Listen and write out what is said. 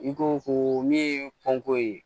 I ko ko min ye panko ye